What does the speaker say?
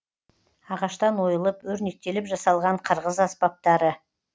ағаштан ойылып өрнектеліп жасалған қырғыз аспаптары